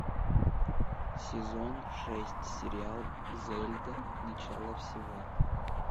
сезон шесть сериал зельда начало всего